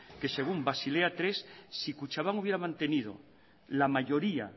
que según basilea tercero si kutxabank hubiera mantenido la mayoría